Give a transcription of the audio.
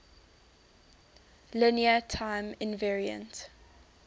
linear time invariant